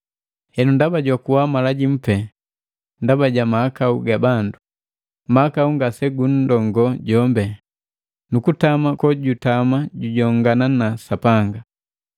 Henu, ndaba jwakuwa mala jimu pee ndaba ja mahakau ga bandu, mahakau ngasegunndoo jombe, nukutama kojutama jujongana na Sapanga.